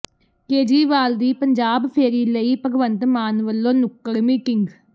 ਕੇਜਰੀਵਾਲ ਦੀ ਪੰਜਾਬ ਫੇਰੀ ਲਈ ਭਗਵੰਤ ਮਾਨ ਵਲੋਂ ਨੁੱਕੜ ਮੀਟਿੰਗ